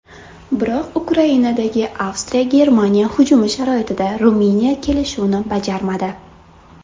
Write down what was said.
Biroq Ukrainadagi AvstriyaGermaniya hujumi sharoitida Ruminiya kelishuvni bajarmadi.